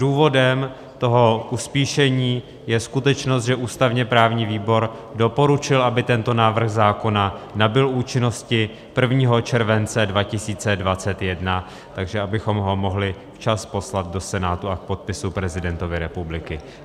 Důvodem toho uspíšení je skutečnost, že ústavně-právní výbor doporučil, aby tento návrh zákona nabyl účinnosti 1. července 2021, takže abychom ho mohli včas poslat do Senátu a k podpisu prezidentovi republiky.